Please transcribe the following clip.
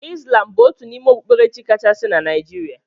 Islam bụ otu n'ime okpukperechi kachasị na Naijiria.